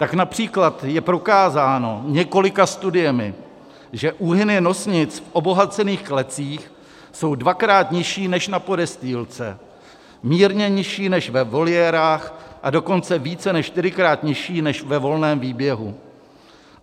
Tak například je prokázáno několika studiemi, že úhyny nosnic v obohacených klecích jsou dvakrát nižší než na podestýlce, mírně nižší než ve voliérách, a dokonce více než čtyřikrát nižší než ve volném výběhu.